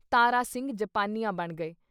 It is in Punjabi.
ਤਾਰਾ ਸਿੰਘ ਜਾਪਾਨੀਆਂ ਬਣ ਗਏ।